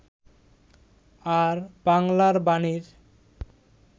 আর 'বাংলার বাণী'র